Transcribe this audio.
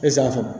Esanfan